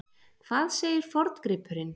Hvað segir forngripurinn?